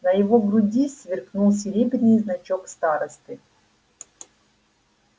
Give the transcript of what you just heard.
на его груди сверкнул серебряный значок старосты